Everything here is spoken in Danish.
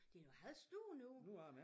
Det er nogle halvstore nogle